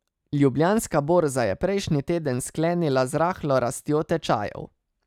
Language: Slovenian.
Ljubljanska borza je prejšnji teden sklenila z rahlo rastjo tečajev.